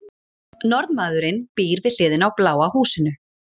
Norðmaðurinn býr við hliðina á bláa húsinu.